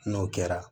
N'o kɛra